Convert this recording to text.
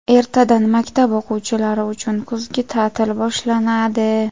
Ertadan maktab o‘quvchilari uchun kuzgi ta’til boshlanadi.